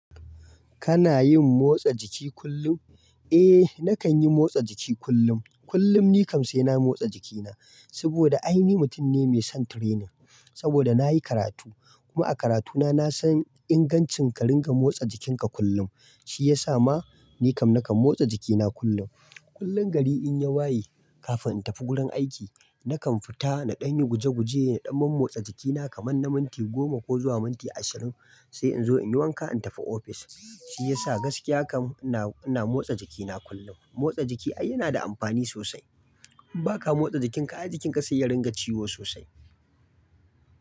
Kana yin motsa jiki kullum? Eh, nakan yi motsa jiki kullum. Kullum ni kam sai na motsa jikina saboda ai ni mutum ne mai son training saboda nayi karatu. Kuma a karatuna na san ingancin ka ringa motsa jikinka kullum. Shi ya sa ma ni kam nakan motsa jikina kullum. Kullum gari in ya waye, kafin in tafi gurin aiki nakan fita na ɗani guje guje, na ɗan man motsa jikina kaman na minti goma ko zuwa minti ashirin sai in zo in yi wanka in tafi office. Shi ya sa gaskiya kam ina, ina motsa jikina kullum. Motsa jiki ai yana da amfani sosai. In baka motsa jikinka ai jikinka zai iya ringa ciwo sosai.